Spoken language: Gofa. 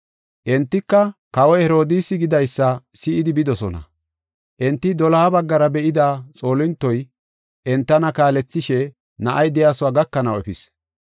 Entika kawoy Herodiisi gidaysa si7idi bidosona. Enti doloha baggara be7ida xoolintoy entana kaalethishe na7ay de7iyasuwa gakanaw efis.